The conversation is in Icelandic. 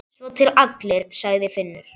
Svo til allir, sagði Finnur.